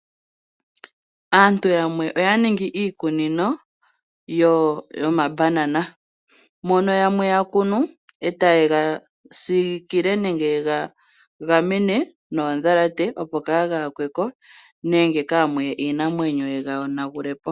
Aantu yamwe oya ningi iikunino yomabanana mono yamwe ya kunu etaye gasiikile nenge yega gamene noondhalate opo kaa ga yakweko nenge kaa muye iinamwenyo yiga yonagulepo.